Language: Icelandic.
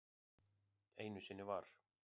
Einu sinni var.